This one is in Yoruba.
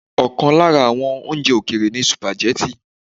Ọ̀kan lára àwọn oúnjẹ òkèèrè ni sìpàgẹ́tì.